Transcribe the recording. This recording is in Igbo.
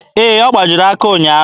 Ee, ọ gbajiri aka ụnyaahụ.